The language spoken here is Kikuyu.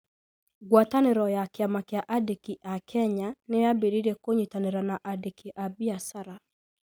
Ngwatanĩro ya Kĩama kĩa aandĩki a Kenya nĩ yaambĩrĩirie kũnyitanĩra na aandĩki a biacara.